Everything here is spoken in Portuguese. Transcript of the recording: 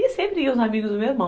E sempre iam os amigos do meu irmão.